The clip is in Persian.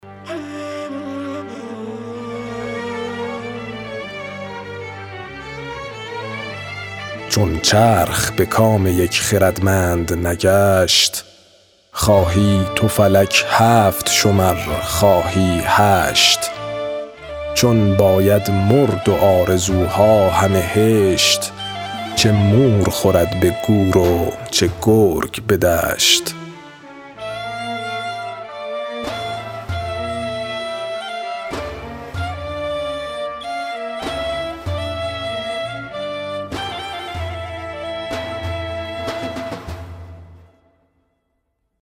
چون چرخ به کام یک خردمند نگشت خواهی تو فلک هفت شمر خواهی هشت چون باید مرد و آرزوها همه هشت چه مور خورد به گور و چه گرگ به دشت